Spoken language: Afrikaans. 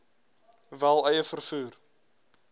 wel eie vervoer